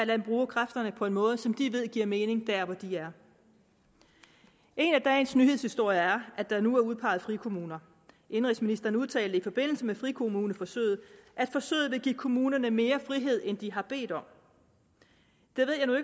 dem bruge kræfterne på en måde som de ved giver mening der hvor de er en af dagens nyhedshistorier er at der nu er udpeget frikommuner indenrigsministeren udtalte i forbindelse med frikommuneforsøget at forsøget vil give kommunerne mere frihed end de har bedt om